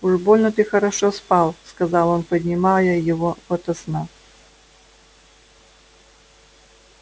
уж больно ты хорошо спал сказал он поднимая его ото сна